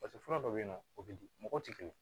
Paseke fura dɔw bɛ yen nɔ o bɛ di mɔgɔw tɛ kelen ye